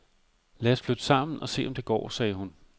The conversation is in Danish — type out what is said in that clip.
Lad os flytte sammen og se om det går, sagde hun.